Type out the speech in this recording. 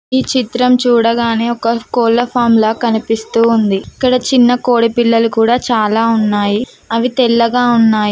ఈ చిత్రం చూడగానే ఒక కోళ్ల ఫార్ము లా కనిపిస్తూ ఉంది ఇక్కడ చిన్న కోడి పిల్లలు కూడా చాలా ఉన్నాయి అవి తెల్లగా ఉన్నాయి.